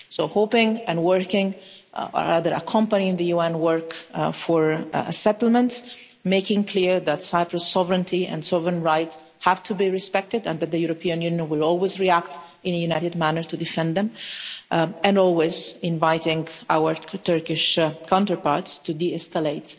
So hoping and working, rather accompanying the UN work for a settlement, making clear that Cyprus' sovereignty and sovereign rights have to be respected and that the European Union will always react in a united manner to defend them, and always inviting our Turkish counterparts to de escalate